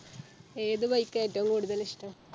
ഏത് Bike ആ ഏറ്റോം കൂടുതൽ ഇഷ്ട്ടം